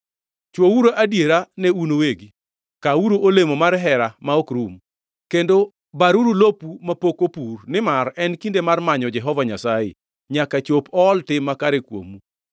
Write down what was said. Chwouru adiera ne un uwegi, kaa-uru olemo mar hera ma ok rum, kendo baruru lopu mapok opur, nimar en kinde mar manyo Jehova Nyasaye, nyaka chop ool tim makare kuomu.